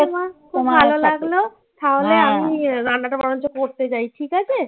ঠিক আছে মা, ভালো লাগলো. তাহলে আমি রান্নাটা বরঞ্চ করতে যাই ঠিক আছে?